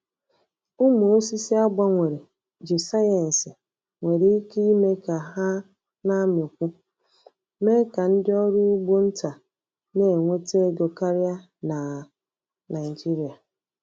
Umụ osisi a gbanwere ji sayensị nwere ike ime ka ha na-amịkwu, mee ka ndị ọrụ ugbo nta na-enweta ego karịa na Naịjirịa.